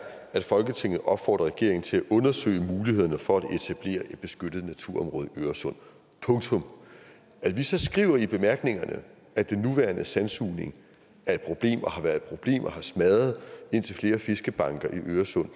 at folketinget opfordrer regeringen til at undersøge mulighederne for at etablere et beskyttet naturområde i øresund punktum at vi så skriver i bemærkningerne at den nuværende sandsugning er et problem og har været et problem og har smadret indtil flere fiskebanker i øresund